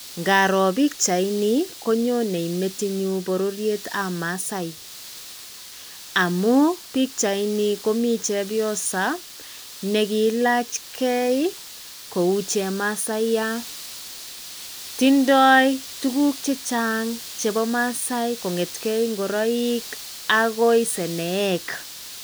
Ngaroo bichainii konyonee metinyuun bororiet ab masai amun bichai nii komii chepyosoo nekiilach gee kou chemasaiyat, tindoi tukuk chechang chepo maasai kongetengee ingoroik akoi sonoek